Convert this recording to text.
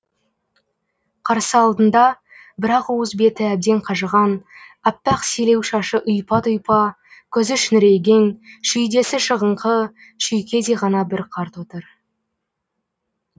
қарсы алдында бір ақ уыс беті әбден қажыған аппақ селеу шашы ұйпа тұйпа көзі шүңірейген шүйдесі шығыңқы шүйкедей ғана бір қарт отыр